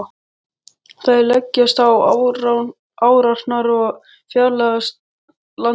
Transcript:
Þeir leggjast á árarnar og fjarlægjast landið.